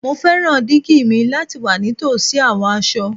Mo fẹran digi mi lati wa nitosi awọn aṣọ